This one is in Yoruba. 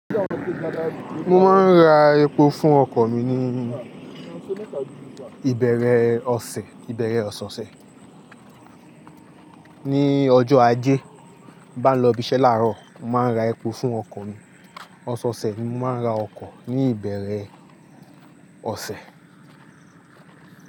Mo máa ń ra epo fún ọkọ̀ mi ní ìbẹ̀rẹ̀ ọ̀sẹ̀, ìbẹ̀rẹ̀ ọ̀sẹ̀ ọ̀sẹ̀. Ni ọjọ́ Ajé. Bí bá n lọ ibiṣẹ́ láàárọ̀, màá nra epo fún ọkọ̀ mi. Ọ̀sẹ̀ ọ̀sẹ̀ ni màá ra ọkọ̀ ní ìbẹ̀rẹ̀ ọ̀sẹ̀.